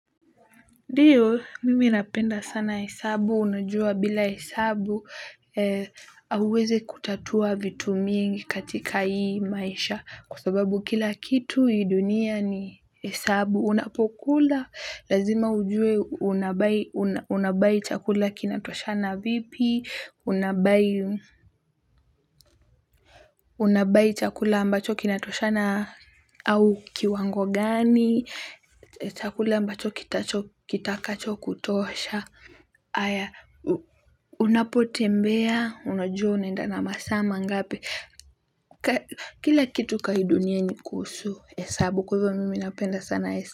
Ndiyo mimi napenda sana hesabu unajua bila hesabu hauwezi kutatua vitu mingi katika hii maisha kwa sababu kila kitu hii dunia ni hesabu unapokula lazima ujue unabuy chakula kinatoshana vipi unabuy chakula ambacho kinatoshana au kiwango gani chakula ambacho kitakachokutosha haya unapotembea unajua unaenda na masaa mangapi kila kitu kwa hii dunia ni kuhusu hesabu kwa hivo mimi napenda sana.